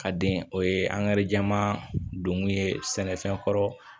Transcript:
Ka den o ye jɛman donkun ye sɛnɛfɛn kɔrɔ